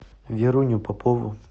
веруню попову